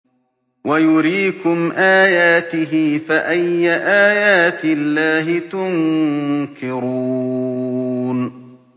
وَيُرِيكُمْ آيَاتِهِ فَأَيَّ آيَاتِ اللَّهِ تُنكِرُونَ